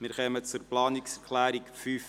Wir kommen zur Planungserklärung 5.b.